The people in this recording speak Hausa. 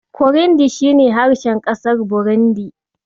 Kurindi shi ne harshen ƙasar Burundi.